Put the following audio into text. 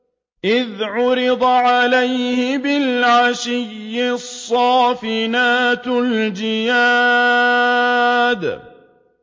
إِذْ عُرِضَ عَلَيْهِ بِالْعَشِيِّ الصَّافِنَاتُ الْجِيَادُ